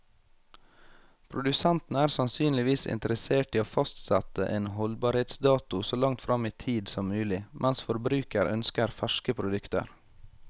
Produsenten er sannsynligvis interessert i å fastsette en holdbarhetsdato så langt frem i tid som mulig, mens forbruker ønsker ferske produkter.